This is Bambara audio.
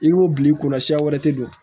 I ko bi kɔnɔ siɲɛ wɛrɛ tɛ don